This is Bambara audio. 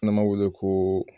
N'an b'a wele koo